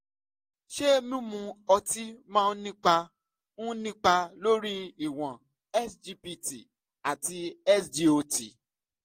ṣé mímu ọtí máa ń nípa ń nípa lórí ìwọ̀n sgpt àti sgot?